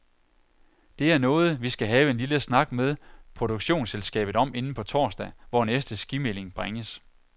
Det er noget, vi skal have en lille snak med produktionsselskabet om inden på torsdag, hvor næste skimelding bringes.